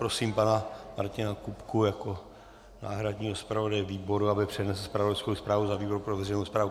Prosím pana Martina Kupku jako náhradního zpravodaje výboru, aby přednesl zpravodajskou zprávu za výbor pro veřejnou správu.